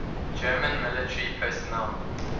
german military personnel